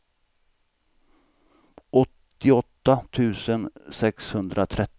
åttioåtta tusen sexhundratretton